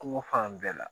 Kungo fan bɛɛ la